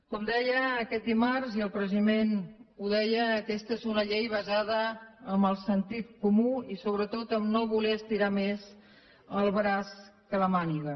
com deia aquest dimarts i el president ho deia aquesta és una llei basada en el sentit comú i sobretot en no voler estirar més el braç que la màniga